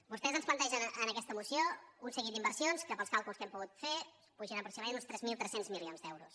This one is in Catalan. vostès ens plantegen en aquesta moció un seguit d’inversions que pels càlculs que hem pogut fer són aproximadament uns tres mil tres cents milions d’euros